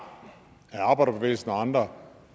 af arbejderbevægelsen og andre